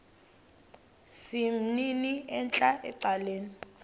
sesimnini entla ecaleni